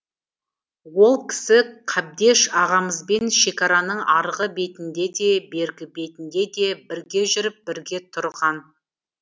ол кісі қабдеш ағамызбен шекараның арғы бетінде де бергі бетінде де бірге жүріп бірге тұрған